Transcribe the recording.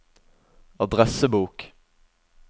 adressebok